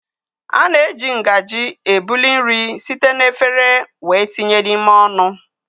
A na-eji ngaji ebuli nri site na efere wéé tinye n'ime ọnụ.